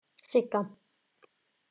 Sigga